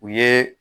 U ye